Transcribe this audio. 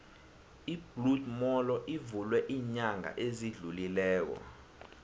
ibloed molo ivulwe ilnyanga ezidlulileko